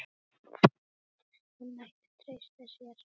Hún mætti treysta sér.